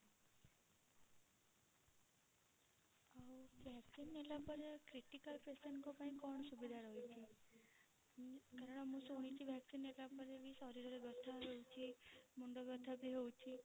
ଆଉ vaccine ନେଲା ପରେ critical patient କଣ ପାଇଁ କଣ ସୁବିଧା ରହୁଛି? କାରଣ ମୁଁ ଶୁଣିଛି vaccine ନେଲା ପରେ ଶରୀରରେ ବ୍ୟଥା ହୁଏ ମୁଣ୍ଡ ବ୍ୟଥା ବି ହୋଉଛି